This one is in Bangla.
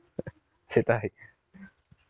সেটাই